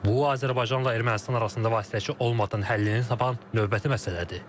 Bu Azərbaycanla Ermənistan arasında vasitəçi olmadan həllini tapan növbəti məsələdir.